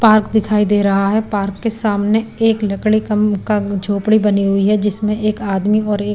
park दिखाई दे रहा है पार्क के सामने एक लकड़ी कम का झोपड़ी बनी हुई है जिसमें एक आदमी और एक --